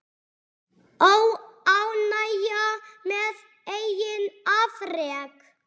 Óánægja með eigin afrek.